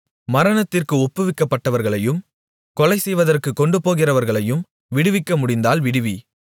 மரணத்திற்கு ஒப்புவிக்கப்பட்டவர்களையும் கொலைசெய்வதற்கு கொண்டுபோகிறவர்களையும் விடுவிக்க முடிந்தால் விடுவி